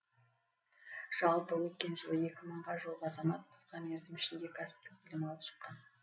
жалпы өткен жылы екі мыңға жуық азамат қысқа мерзім ішінде кәсіптік білім алып шыққан